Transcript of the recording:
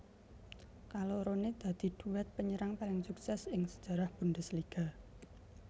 Kaloroné dadi duet penyerang paling sukses ing sejarah Bundesliga